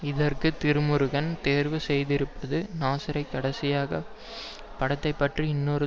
இதற்கு திருமுருகன் தேர்வு செய்திருப்பது நாசரை கடைசியாக படத்தை பற்றி இன்னொரு